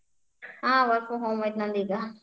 ಹಾ work from home ಐತಿ ನಂದ್ ಈಗ.